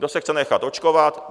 Kdo se chce nechat očkovat...